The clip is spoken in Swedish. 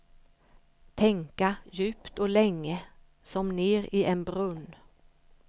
Tänka djupt och länge, som ner i en brunn.